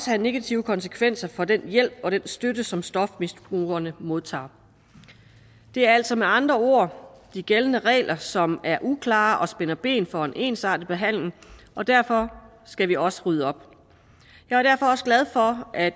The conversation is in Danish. have negative konsekvenser for den hjælp og den støtte som stofmisbrugerne modtager det er altså med andre ord de gældende regler som er uklare og som spænder ben for en ensartet behandling og derfor skal vi også rydde op jeg er derfor også glad for at